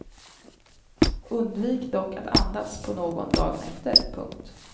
Undvik dock att andas på någon dagen efter. punkt